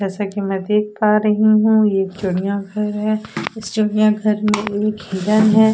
जैसा कि मैं देख पा रही हूं ये चिड़िया घर है इस चिड़िया घर में एक हिरन है।